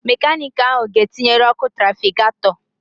Mekanịkị ahụ ga etinyere ọkụ trafigatọ